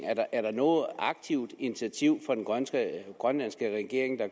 er der noget aktivt initiativ fra den grønlandske regerings